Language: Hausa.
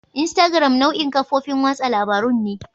Instagram nau'in kafofin watsa labarun ne.